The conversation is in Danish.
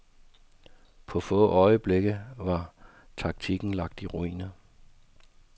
På få øjeblikke var taktikken lagt i ruiner.